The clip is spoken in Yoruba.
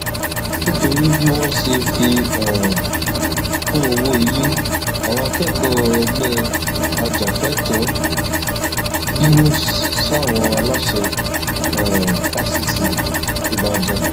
nítorí bí wọn ṣe fi um kún owó ilé àwọn akẹkọọ ẹgbẹ ajàfẹtọọ bínú sáwọn aláṣẹ um fáṣítì ìbàdàn